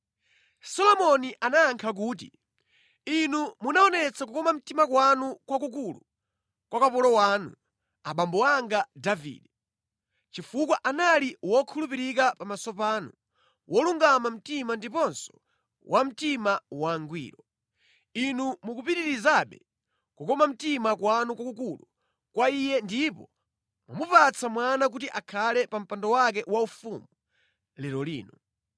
Solomoni anayankha kuti, “Inu munaonetsa kukoma mtima kwanu kwakukulu kwa kapolo wanu, abambo anga Davide, chifukwa anali wokhulupirika pamaso panu, wolungama mtima ndiponso wa mtima wangwiro. Inu mukupitirizabe kukoma mtima kwanu kwakukulu kwa iye ndipo mwamupatsa mwana kuti akhale pa mpando wake waufumu lero lino.